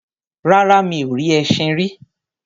Rárá, mi ò rí ẹṣin rí.